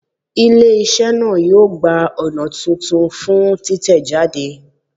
Ile-iṣẹ naa yoo gba ọna tuntun fun titẹjade